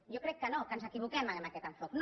jo crec que no que ens equivoquem amb aquest enfocament